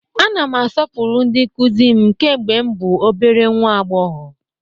Ana m asọpụrụ ndị nkụzi m kemgbe m bụ obere nnwa agbọghọ.